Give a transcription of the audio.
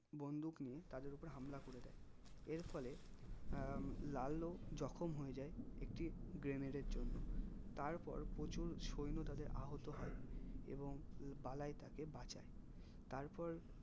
বন্ধুক নিয়ে তাদের ওপরে হামলা করে দেয় এরফলে আহ লালও জখম হয়ে যাই একটি grenade এর জন্য তারপর প্রচুর সৈন্য তাদের আহত হয় এবং বালাই তাকে বাঁচায় তারপর